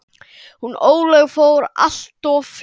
Hún Ólöf fór alltof fljótt.